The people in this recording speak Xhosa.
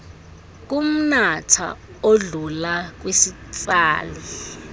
kumnatha odlula kwisitsali